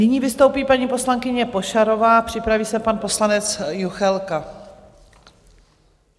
Nyní vystoupí paní poslankyně Pošarová, připraví se pan poslanec Juchelka.